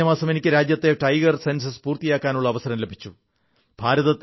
കഴിഞ്ഞ മാസം എനിക്ക് രാജ്യത്തെ ടൈഗർ സെൻസസ് പുറത്തിറക്കാനുള്ള അവസരം ലഭിച്ചു